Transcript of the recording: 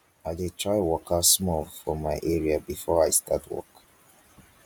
i dey try waka small for my area before i start work.